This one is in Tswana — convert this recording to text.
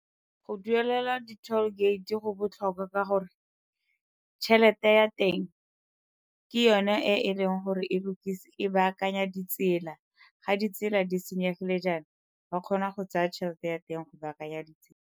Go duelela di-toll gate go botlhokwa ka gore tšhelete ya teng ke yone e e leng gore e baakanya ditsela, ga ditsela di senyegile jaana ba kgona go tsaya tšhelete ya teng go baakanya ditsela.